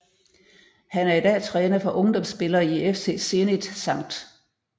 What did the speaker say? Han er i dag træner for ungdomsspillere i FC Zenit Skt